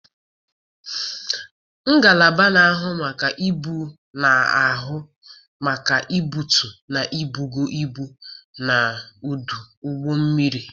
Ngalaba na-ahụ maka ibu na-ahụ maka ibutu na ibugo ibu n'ọdụ ụgbọ mmiri.